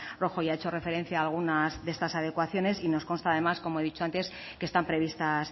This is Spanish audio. rojo ya ha hecho referencia a algunas de estas adecuaciones y nos consta además como he dicho antes que están previstas